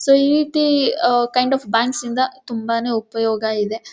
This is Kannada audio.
ಸೋ ಈ ರೀತಿ ಕೈಂಡ್ ಆಫ್ ಬ್ಯಾಂಕ್ಸ್ ಇಂದ ತುಂಬಾನೇ ಉಪಯೋಗ ಇದೆ.